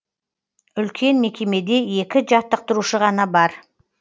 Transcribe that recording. үлкен мекемеде екі жаттықтырушы ғана бар